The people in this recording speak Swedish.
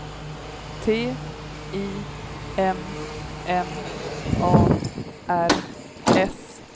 T I M M A R S